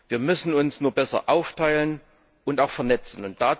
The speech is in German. Wir müssen uns nur besser aufteilen und auch vernetzen.